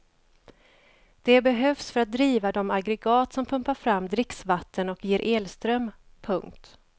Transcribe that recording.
Det behövs för att driva de aggregat som pumpar fram dricksvatten och ger elström. punkt